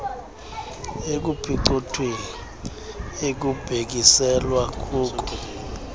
ekuphicothweni ekubhekiselelwa kuko